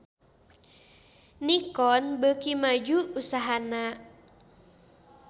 Nikon beuki maju usahana